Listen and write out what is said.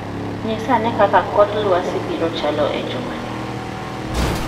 Nyisa ane kaka kor lwasi biro chalo e jumani